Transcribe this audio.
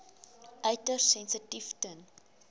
uiters sensitief ten